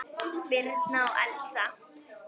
Birna og Elsa.